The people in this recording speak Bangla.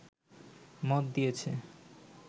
মত দিয়েছে